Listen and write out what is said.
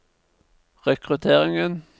rekrutteringen